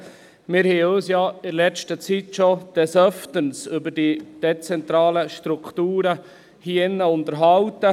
Wir haben uns ja hier in diesem Saal in letzter Zeit des Öfteren über die dezentralen Strukturen unterhalten.